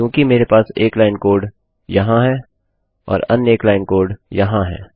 क्योंकि मेरे पास एक लाइन कोड यहाँ है और अन्य एक लाइन कोड यहाँ है